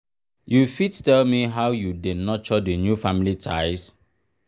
you fit tell me how you dey nurture di new family ties?